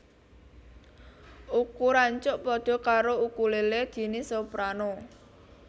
Ukuran cuk pada karo ukulélé jinis soprano